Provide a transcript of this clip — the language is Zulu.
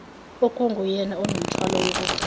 okunguyena onomthwalo wokugcina